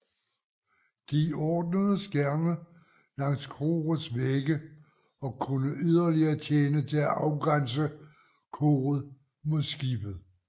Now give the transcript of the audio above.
De ordnedes gerne langs korets vægge og kunne yderligere tjene til at afgrænse koret mod skibet